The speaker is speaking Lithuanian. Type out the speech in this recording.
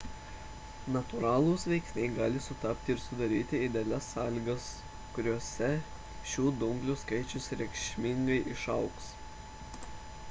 natūralūs veiksniai gali sutapti ir sudaryti idealias sąlygas kuriose šių dumblių skaičius reikšmingai išaugs